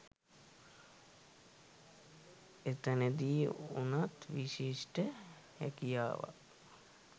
එතනදී උනත් විශිෂ්ඨ හැකියාවක්